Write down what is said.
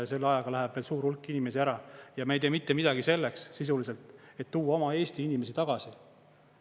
Selle ajaga läheb veel suur hulk inimesi ära ja me ei tee mitte midagi selleks sisuliselt, et tuua oma eesti inimesi tagasi.